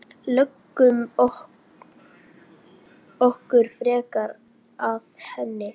Lögum okkur frekar að henni.